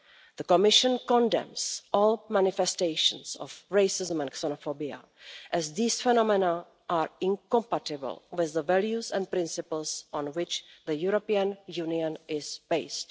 The Commission condemns all manifestations of racism and xenophobia, as these phenomena are incompatible with the values and principles on which the European Union is based.